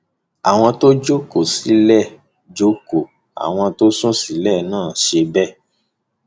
àwọn tó jókòó sílẹẹlẹ jókòó àwọn tó sùn sílẹ náà ṣe bẹẹ